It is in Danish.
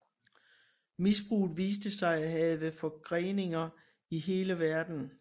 Misbruget viste sig at have forgreninger i hele verden